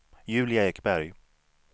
Julia Ekberg